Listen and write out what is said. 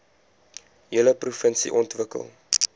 hele provinsie ontwikkel